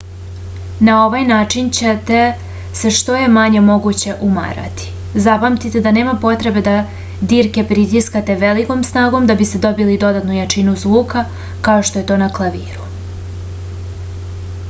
na ovaj način ćete se što je manje moguće umarati zapamtite da nema potrebe da dirke pritiskate velikom snagom da biste dobili dodatnu jačinu zvuka kao što je to na klaviru